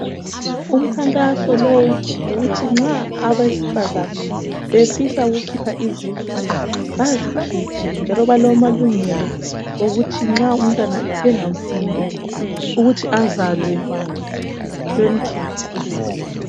Umkhankaso lo ngowokuthi nxa abesifazane befisa ukukhipha izisu baxikhiphe njalo balamalungelo wokuthi nxa umntwana bengamfuni bemkhuphe.